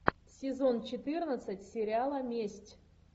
сезон четырнадцать сериала месть